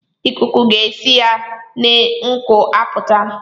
Ikuku ga-esi ya n'ngu apụta